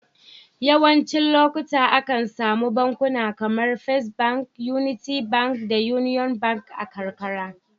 Yawancin lokuta, akan samu bankuna kamar first Bank, Unity Bank da Union Bank a karkara.